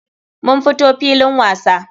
Mun fito filin wasa.